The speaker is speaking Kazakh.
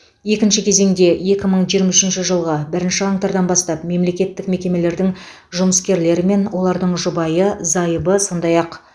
екінші кезеңде екі мың жиырма үшінші жылғы бірінші қаңтардан бастап мемлекеттік мекемелердің жұмыскерлері мен олардың жұбайы зайыбы сондай ақ